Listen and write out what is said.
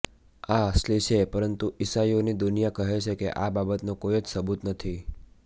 આ અસલી છે પરંતુ ઈસાઈઓની દુનિયા કહે છે કે આ બાબતનો કોઈ જ સબૂત નથી